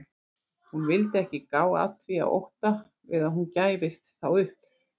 Hún vildi ekki gá að því af ótta við að hún gæfist þá upp.